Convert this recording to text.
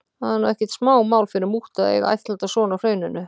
Það er nú ekkert smá mál fyrir múttu að eiga ættleiddan son á Hrauninu.